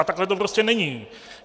A takhle to prostě není.